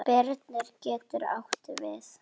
Birnir getur átt við